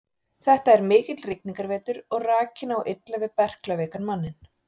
Þetta er mikill rigningarvetur og rakinn á illa við berklaveikan manninn.